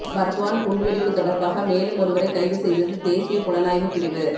பர்த்வான் குண்டுவெடிப்பு தொடர்பாக மேலும் ஒருவரை கைதுசெய்தது தேசிய புலனாய்வு பிரிவு